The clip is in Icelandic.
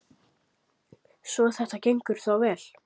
Svo þetta gengur þá vel?